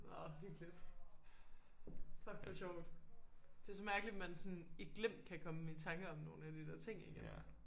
Nåh hyggeligt fuck hvor sjovt det er så mærkeligt man sådan i glimt kan komme i tanke om nogle af de der ting ik